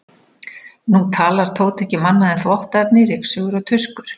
Nú talar Tóti ekki um annað en þvottaefni, ryksugur og tuskur.